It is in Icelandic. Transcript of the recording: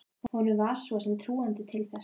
Honum var svo sem trúandi til þess.